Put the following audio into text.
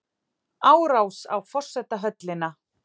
Árás á forsetahöllina